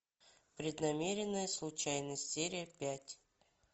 преднамеренная случайность серия пять